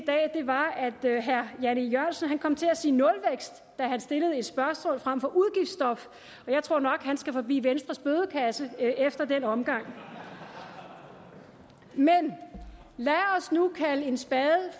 dag at herre jan e jørgensen kom til at sige nulvækst da han stillede et spørgsmål frem for udgiftsstop jeg tror nok at han skal forbi venstres bødekasse efter den omgang men lad os nu kalde en spade